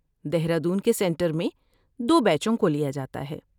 دہرادون کے سنٹر میں دو بیچوں کو لیا جاتا ہے